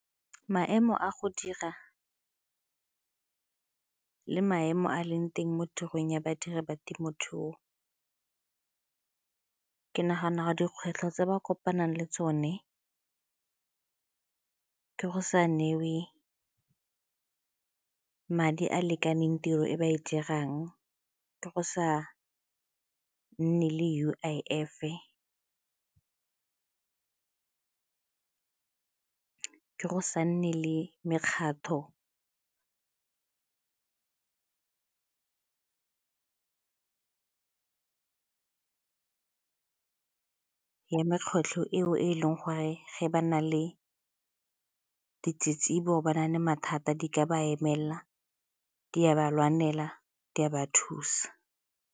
Maemo a go dira le maemo a a leng teng mo tirong ya badiri ba temothuo ke nagana dikgwetlho tse ba kopanang le tsone ke go sa neiwe madi a a lekaneng tiro e ba e dirang, ke go sa nne le U_I_F-e, ke go sa nne le mekgatlho ya eo e leng gore ge ba na le ditsitsibo ga ba na le mathata di ka ba emelela, di a ba lwanela, di a ba thusa.